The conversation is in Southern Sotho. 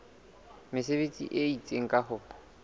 mesebetsi e itseng ka ho